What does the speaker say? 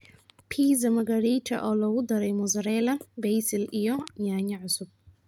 Pizza Margherita oo lagu daray mozzarella, basil iyo yaanyo cusub.